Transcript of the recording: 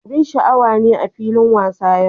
Abin sha'awa ne a filin wasa yau.